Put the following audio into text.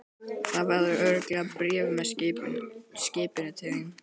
Það verður örugglega bréf með skipinu til þín.